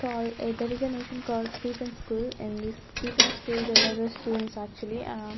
call a there is a nation called Stephen school and this Stephen school there are the students actually --